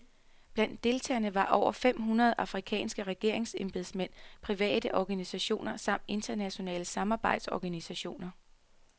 Blandt deltagerne var over fem hundrede afrikanske regeringsembedsmænd, private organisationer samt internationale samarbejdsorganisationer.